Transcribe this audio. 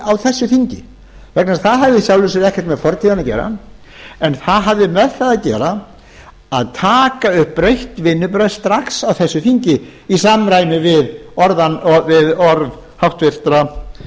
á þessu þingi vegna þess að það hafði í sjálfu sér ekkert með fortíðina að gera en það hafði með það að gera að taka upp breytt vinnubrögð strax á þessu þingi í samræmi við orð háttvirtra